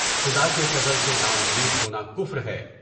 خدا کے فضل سے ناامید ہونا کفر ہے۔